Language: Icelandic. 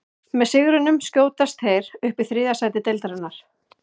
Með sigrinum skjótast þeir upp í þriðja sæti deildarinnar.